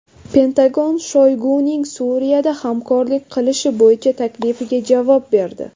Pentagon Shoyguning Suriyada hamkorlik qilish bo‘yicha taklifiga javob berdi.